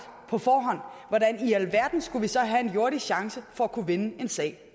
på forhånd hvordan i alverden skulle vi så have en jordisk chance for efterfølgende at kunne vinde en sag